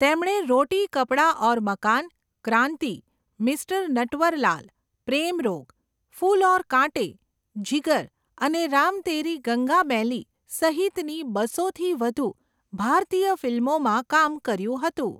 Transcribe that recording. તેમણે રોટી કપડા ઔર મકાન, ક્રાંતિ, મિસ્ટર નટવરલાલ, પ્રેમ રોગ, ફૂલ ઔર કાંટે, જીગર અને રામ તેરી ગંગા મૈલી સહિતની બસોથી વધુ ભારતીય ફિલ્મોમાં કામ કર્યું હતું.